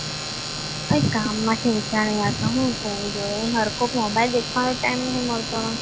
કંઈ કામમાંથી ઊંચા નથી આવતા મોબાઇલ દેખવાનો ટાઈમ નથી મળતો